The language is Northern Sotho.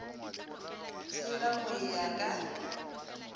tshela go e ya ka